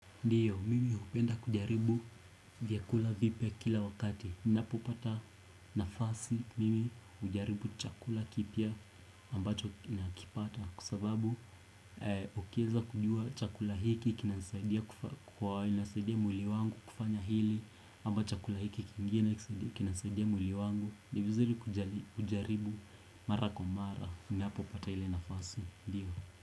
Ndiyo, mimi hupenda kujaribu vyakula vipya kila wakati. Ni napo pata nafasi, mimi ujaribu chakula kipya ambacho ninakipata. Kwa sababu, ukieza kujua chakula hiki kinanisaidia kwa inasaidia mwili wangu kufanya hili, ambach chakula hiki kingine kinasaidia mwili wangu. Ni vizuri kujaribu mara kwa mara, unapo pata ile nafasi, ndiyo.